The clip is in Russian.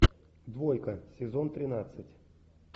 двойка сезон тринадцать